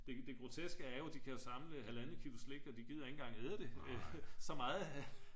det grotekse er jo at de kan samle 1,5 kilo slik og de gider ikke engang æde det så meget